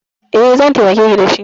E, zan taimakeki da shi.